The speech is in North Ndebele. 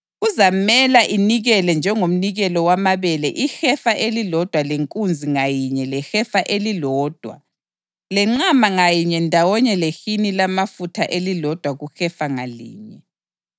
Kuzamela inikele njengomnikelo wamabele ihefa elilodwa lenkunzi ngayinye lehefa elilodwa lenqama ngayinye ndawonye lehini lamafutha elilodwa kuhefa ngalinye.